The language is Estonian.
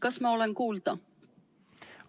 Kas ma olen kuulda?